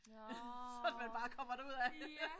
Nåh ja